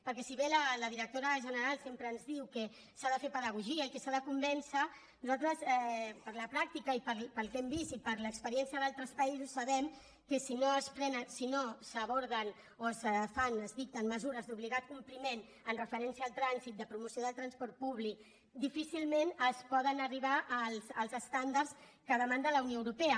perquè si bé la directora general sempre ens diu que s’ha de fer pedagogia i que s’ha de convèncer nosaltres per la pràctica i pel que hem vist i per l’experiència d’altres països sabem que si no es prenen si no s’aborden o es fan es dicten mesures d’obligat compliment en referència al trànsit de promoció del transport públic difícilment es poden arribar als estàndards que demana la unió europea